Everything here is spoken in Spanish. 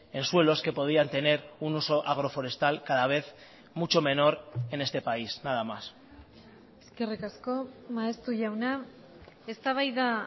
en suelos que podían tener un uso agroforestal cada vez mucho menor en este país nada más eskerrik asko maeztu jauna eztabaida